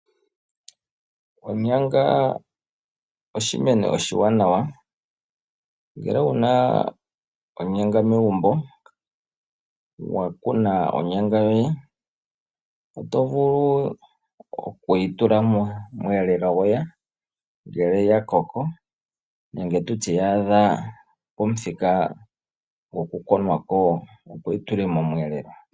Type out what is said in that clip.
Onyanga oshimeno oshiwanawa, ngele wuna onyanga megumbo, wa kuna onyanga yoye oto vulu oku yi tula momweelelo goye ngele ya koko, nenge tutye ya adha pomuthika gokukuna ko opo wuyi tule momwelelo.